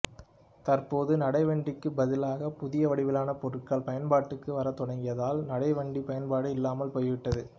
தற்போது நடைவண்டிக்குப் பதிலாக புதிய வடிவிலான பொருட்கள் பயன்பாட்டுக்கு வரத் தொடங்கியதால் நடைவண்டி பயன்பாடு இல்லாமல் போய்விட்டது